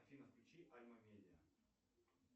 афина включи альма медиа